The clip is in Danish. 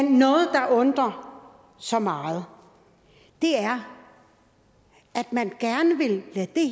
noget der undrer så meget er at man gerne vil